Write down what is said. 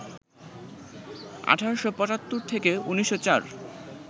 ১৮৭৫ থেকে ১৯০৪